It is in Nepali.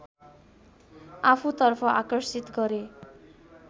आफूतर्फ आकर्षित गरे